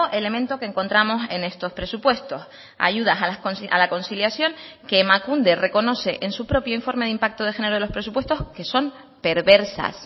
elemento que encontramos en estos presupuestos ayudas a la conciliación que emakunde reconoce en su propio informe de impacto de género de los presupuestos que son perversas